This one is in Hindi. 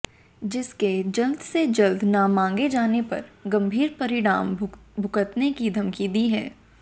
जिसके जल्द से जल्द न माँगे जाने पर गंभीर परिणाम भुगतने की धमकी दी है